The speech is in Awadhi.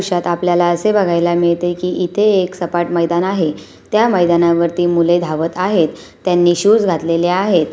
दृश्यात आपल्याला असे बघायला मिळते कि इथे एक सपाट मैदान आहे त्या मैदानावरती मुले धावत आहेत त्यांनी शुज घातलेले आहेत.